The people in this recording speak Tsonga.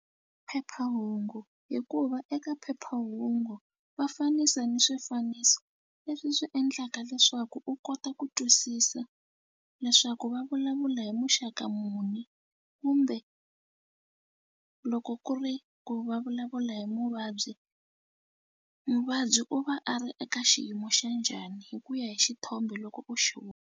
Phephahungu hikuva eka phephahungu va fanisa ni swifaniso leswi swi endlaka leswaku u kota ku twisisa leswaku va vulavula hi muxaka muni kumbe loko ku ri ku va vulavula hi muvabyi muvabyi u va a ri eka xiyimo xa njhani hi ku ya hi xithombe loko u xi .